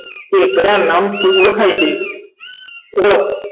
તે કયા નામથી ઓળખાય છે ઓળખ